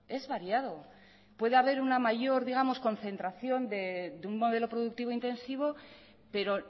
es variado puede haber una mayor digamos concentración de un modelo productivo intensivo pero